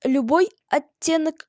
любой оттенок